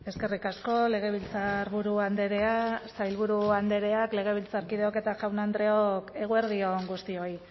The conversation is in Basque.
eskerrik asko legebiltzarburu andrea sailburu andreak legebiltzarkideok eta jaun andreok eguerdi on guztioi